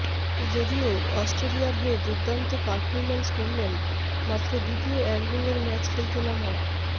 যদিও অস্ট্রেলিয়ার হয়ে দুর্দান্ত পারফরম্যান্স করলেন মাত্র দ্বিতীয় একদিনের ম্যাচ খেলতে নামা